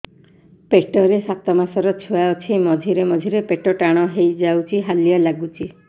ପେଟ ରେ ସାତମାସର ଛୁଆ ଅଛି ମଝିରେ ମଝିରେ ପେଟ ଟାଣ ହେଇଯାଉଚି ହାଲିଆ ଲାଗୁଚି